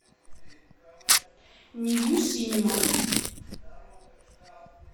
ньюсинема